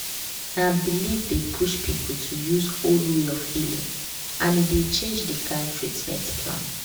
na belief dey push people to use old way of healing and e dey change the kind treatment plan.